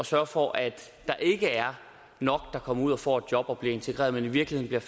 sørge for at der ikke er nok der kommer ud og får et job og bliver integreret men i virkeligheden